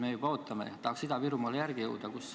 Me juba ootame, tahaks Ida-Virumaale järele jõuda.